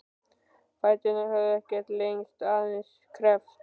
Fæturnir höfðu ekkert lengst, aðeins kreppst.